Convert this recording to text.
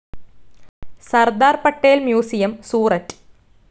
Sardar Patel museum, Surat